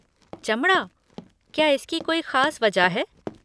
चमड़ा? क्या इसकी कोई खास वजह है?